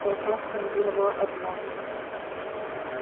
толпа скандировала одно